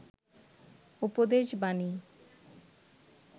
উপদেশ বানী